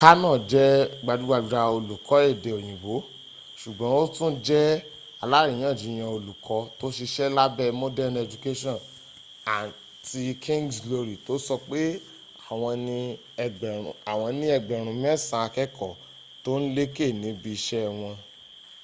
karno jẹ́ gbajúgbajà olùkọ́ èdè òyìnbó ṣùgbọ́n ó tún jẹ́ aláríyànjiyàn olùkọ́ tó ṣiṣẹ́ lábẹ́ modern education and king’s glory to sọpé àwọn ní ẹgbẹ̀rún mẹ́sàn-án akẹ́kọ̀ọ́ tó ń lékè níbi iṣẹ́ wọn